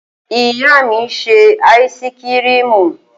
Ìyá mi ń ṣe áísíkrimù.